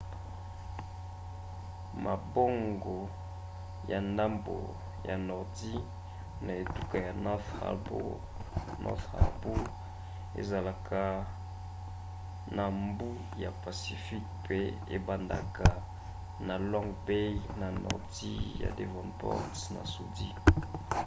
mabongo ya ndambo ya nordi na etuka ya north harbour ezalaka na mbu ya pacifique mpe ebandaka na long bay na nordi ya devonport na sudi